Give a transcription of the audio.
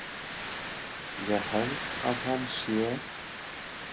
Ég held að hann sé.